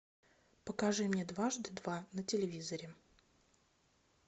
покажи мне дважды два на телевизоре